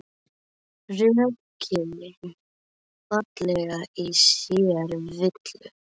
Rökin fela í sér villu.